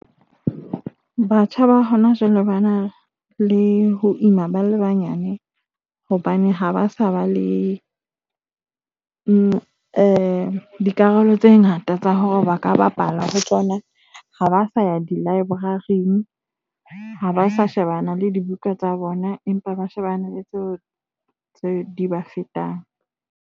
Batjha ba hona jwale ba na le ho ima ba le banyane hobane ha ba sa ba le dikarolo tse ngata tsa hore ba ka bapala ho tsona ha ba sa ya di-library, ha ba sa shebana le dibuka tsa bona, empa ba shebane le tseo tse di ba fetang.